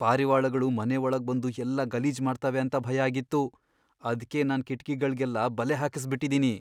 ಪಾರಿವಾಳಗಳು ಮನೆ ಒಳಗ್ಬಂದು ಎಲ್ಲ ಗಲೀಜ್ ಮಾಡ್ತವೆ ಅಂತ ಭಯ ಆಗಿತ್ತು, ಅದ್ಕೇ ನಾನ್ ಕಿಟ್ಕಿಗಳ್ಗೆಲ್ಲ ಬಲೆ ಹಾಕ್ಸ್ಬಿಟಿದಿನಿ.